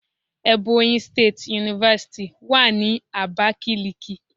Ebonyi State University wà ní Abakiliki.